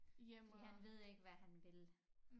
Fordi han ved ikke hvad han vil